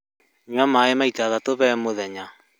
Nyua maĩ maita matatũ harĩ mũthenya